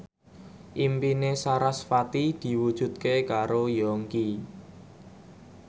impine sarasvati diwujudke karo Yongki